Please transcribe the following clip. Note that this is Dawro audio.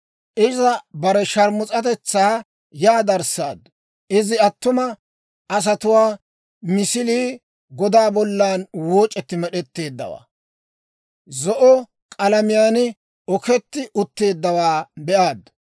«Iza bare sharmus'atetsaa yaa darissaaddu; iza attuma asatuwaa misilii godaa bollan wooc'etti med'eteeddawaa, zo'o k'alamiyaan oketti utteeddawaa be'aaddu.